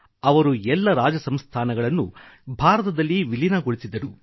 ಅವರು ಎಲ್ಲ ರಾಜ ಸಂಸ್ಥಾನಗಳನ್ನು ಭಾರತದಲ್ಲಿ ವಿಲೀನಗೊಳಿಸಿದರು